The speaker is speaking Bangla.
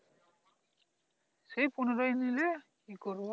সেই পনেরো নিলে কি করব